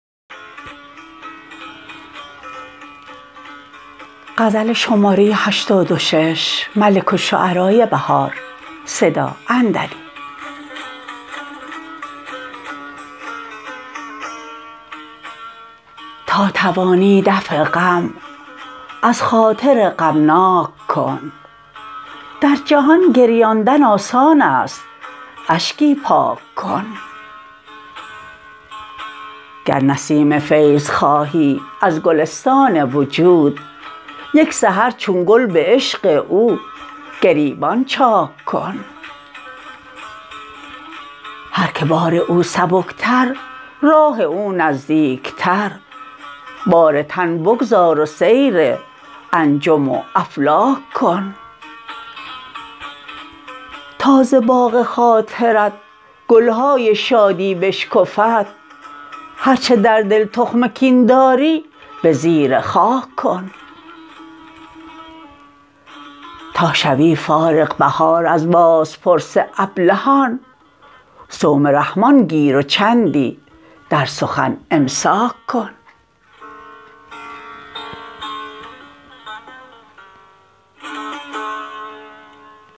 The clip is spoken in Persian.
تا توانی دفع غم از خاطر غمناک کن در جهان گریاندن آسانست اشکی پاک کن گر نسیم فیض خواهی از گلستان وجود یک سحر چون گل به عشق او گریبان چاک کن هرکه بار او سبکتر راه او نزدیکتر بار تن بگذار و سیر انجم و افلاک کن تا ز باغ خاطرت گل های شادی بشکفد هرچه در دل تخم کین داری به زیر خاک کن تا شوی فارغ بهار از بازپرس ابلهان صوم رحمن گیر و چندی در سخن امساک کن